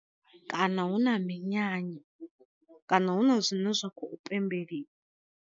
Kana hu na minyanya kana huna zwine zwa khou pembeliwa.